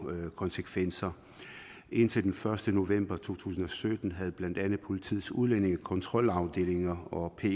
konsekvenser indtil den første november to tusind og sytten havde blandt andet politiets udlændingekontrolafdelinger og pet